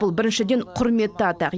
бұл біріншіден құрметті атақ